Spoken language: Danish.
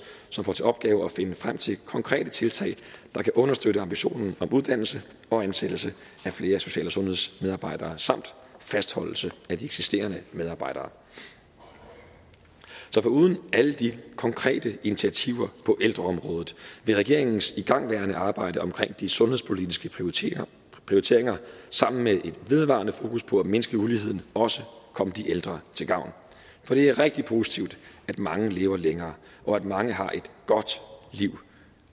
som får til opgave at finde frem til konkrete tiltag der kan understøtte ambitionen om uddannelse og ansættelse af flere social og sundhedsmedarbejdere samt fastholdelse af de eksisterende medarbejdere så foruden alle de konkrete initiativer på ældreområdet vil regeringens igangværende arbejde omkring de sundhedspolitiske prioriteringer prioriteringer sammen med et vedvarende fokus på at mindske uligheden også komme de ældre til gavn for det er rigtig positivt at mange lever længere og at mange har et godt liv